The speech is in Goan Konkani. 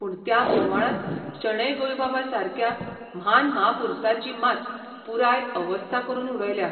पूण त्या बोवाळांत शणै गोंयबाबासारक्या म्हान म्हापुरसाची मात पुराय अवस्था करून उडयल्या.